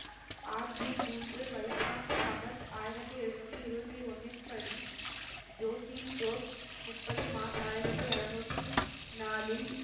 ஆப்ஜி சமத் ஆயிரத்தி எழுநூத்தி இருபத்தி ஒன்றின் படி ஜோதி ஜோத் முப்பது மார்ச் ஆயிரத்தி அறுநூத்தி நாலில்